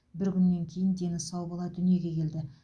бір күннен кейін дені сау бала дүниеге келді